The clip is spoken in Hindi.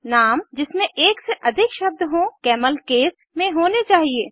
नाम जिसमें एक से अधिक शब्द हों कैमल केस में होने चाहिए